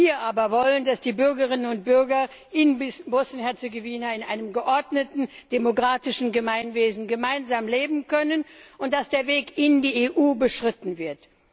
Wir aber wollen, dass die Bürgerinnen und Bürger in Bosnien und Herzegowina in einem geordneten demokratischen Gemeinwesen gemeinsam leben können, und dass der Weg in die EU beschritten wird.